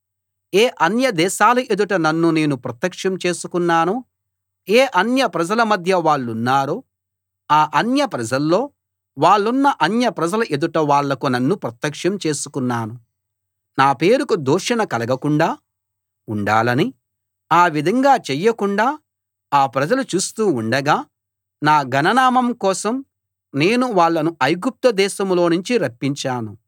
ఏ అన్యదేశాల ఎదుట నన్ను నేను ప్రత్యక్షం చేసుకున్నానో ఏ అన్యప్రజల మధ్య వాళ్లున్నారో ఆ అన్యప్రజల్లో వాళ్ళున్న అన్యప్రజల ఎదుట వాళ్లకు నన్ను ప్రత్యక్షం చేసుకున్నాను నా పేరుకు దూషణ కలగకుండా ఉండాలని ఆ విధంగా చెయ్యకుండా ఆ ప్రజలు చూస్తూ ఉండగా నా ఘన నామం కోసం నేను వాళ్ళను ఐగుప్తు దేశంలోనుంచి రప్పించాను